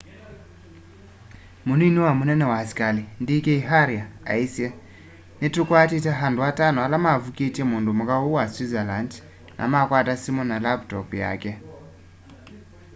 munini wa munene wa askali d k arya aisye ni tũkwatite andu atano ala mavũkitye mundumuka ũu wa switzerland na makwata simu na laptop yake